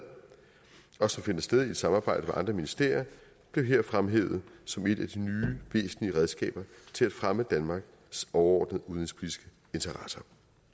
og som finder sted i et samarbejde med andre ministerier blev her fremhævet som et af de nye væsentlige redskaber til at fremme danmarks overordnede udenrigspolitiske interesser